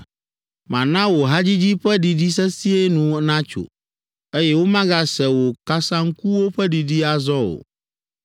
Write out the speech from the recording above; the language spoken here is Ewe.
Mana wò hadzidzi ƒe ɖiɖi sesĩe nu natso, eye womagase wò kasaŋkuwo ƒe ɖiɖi azɔ o.